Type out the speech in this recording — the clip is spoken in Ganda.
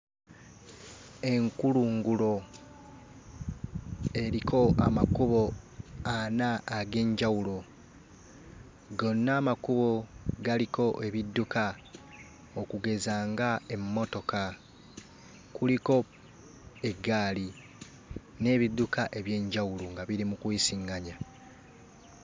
Enkulungulo eriko amakubo ana ag'enjawulo. Gonna amakubo galiko ebidduka okugeza ng'emmotoka, kuliko eggaali n'ebidduka eby'enjawulo nga biri mu kuyisiŋŋanya.